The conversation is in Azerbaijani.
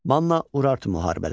Manna-Urartu müharibələri.